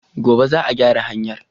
Gobe za a gyara hanyar